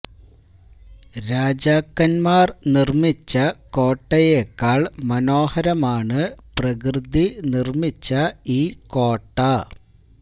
രാജാക്കന്മാര് നിര്മിച്ച കോട്ടയേക്കാള് മനോഹരമാണ് പ്രകൃതി നിര്മിച്ച ഈ കോട്ട